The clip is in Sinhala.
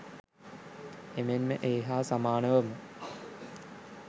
එමෙන්ම ඒ හා සමානවම